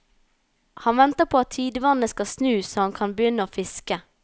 Han venter på at tidevannet skal snu så han kan begynne å fiske.